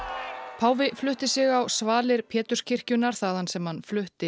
páfi flutti sig á svalir Péturskirkjunnar þaðan sem hann flutti